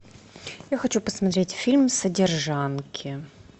я хочу посмотреть фильм содержанки